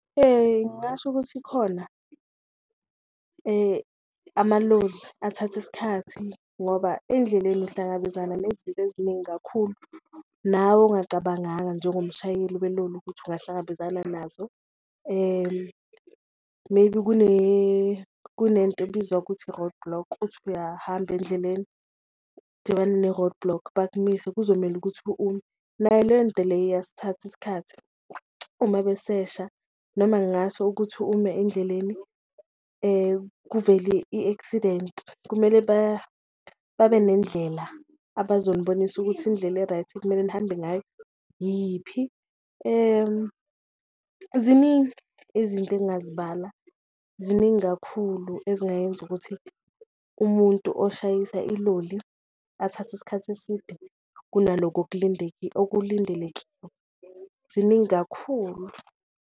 Ngasho ukuthi ikhona amaloli athatha isikhathi ngoba endleleni uhlangabezana nezinto eziningi kakhulu, nawe ongacabanganga njengomshayeli weloli ukuthi ungahlangabezana nazo maybe kunento ebizwa ukuthi i-roadblock. Uthi uyahamba endleleni udibane ne-roadblock bakumise kuzomele ukuthi ume, nayo lento leyo iyasithatha isikhathi uma besesha noma ngaso ukuthi ume endleleni kuvele i-accident kumele babe nendlela abazonibonisa ukuthi indlela e-right ekumele nihambe ngayo yiphi. Ziningi izinto engazibala ziningi kakhulu ezingayenza ukuthi umuntu oshayisa iloli athathe isikhathi eside kunalokho okulindeleki ziningi kakhulu.